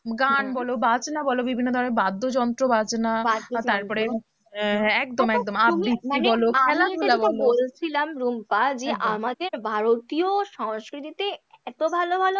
গান বলো বাজনা বলো বিভিন্ন ধরণের বাদ্যযন্ত্র, বাজনা তারপরে আহ একদম একদম তুমি মানে বলছিলাম রুম্পা যে আমাদের ভারতীয় সংস্কৃতিতে এত ভালোভালো